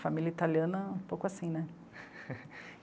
Família italiana é um pouco assim, né?